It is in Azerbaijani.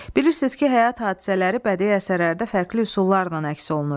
Bilirsiniz ki, həyat hadisələri bədii əsərlərdə fərqli üsullarla əks olunur.